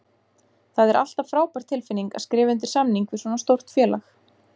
Það er alltaf frábær tilfinning að skrifa undir samning við svona stórt félag.